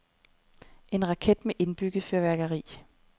En raket, med indbygget fyrværkeri.